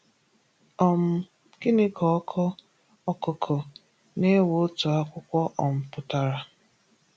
um Gịnị ka ọkọ “Ọkụkụ na-ewe otu akwụkwọ” um pụtara?